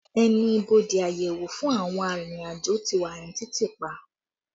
Ẹnu ibodè àyẹ̀wò fún àwọn arìnrìn-àjò ti wà ní títì pa